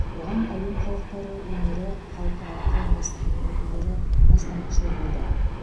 оған әлем халықтары өнері халықаралық қауымдастығының өкілдері бастамашыл болды